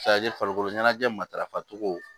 farikolo ɲɛnajɛ matarafa cogo